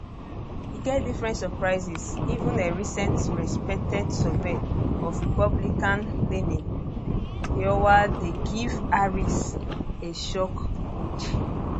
e get different surprises even a recent respected survey of republicanleaning iowa dey give harris a shock lead